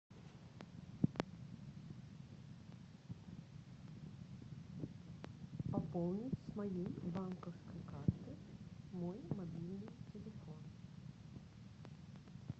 пополнить с моей банковской карты мой мобильный телефон